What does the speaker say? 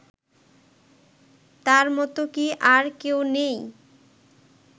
তার মত কি আর কেউ নেই